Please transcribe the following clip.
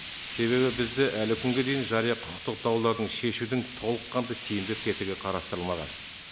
себебі бізде әлі күнге дейін жария құқықтық даулардың шешудің толыққанды тиімді тетігі қарастырылмаған